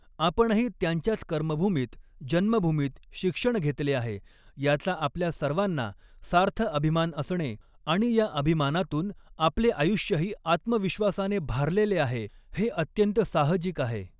आपणही त्यांच्याच कर्मभूमीत, जन्मभूमीत शिक्षण घेतले आहे, याचा आपल्या सर्वांना सार्थ अभिमान असणे आणि या अभिमानातून आपले आयुष्यही आत्मविश्वासाने भारलेले आहे, हे अत्यंत साहजिक आहे.